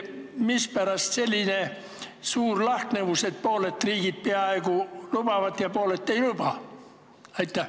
Mispärast selline suur lahknevus, et pooled riigid lubavad ja pooled ei luba?